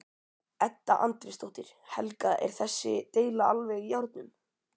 Edda Andrésdóttir: Helga er þessi deila alveg í járnum?